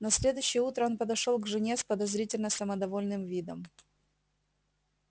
на следующее утро он подошёл к жене с подозрительно самодовольным видом